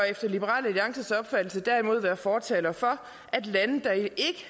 efter liberal alliances opfattelse derimod være fortalere for at lande der ikke